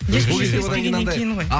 ешкіммен сөйлеспегеннен кейін ғой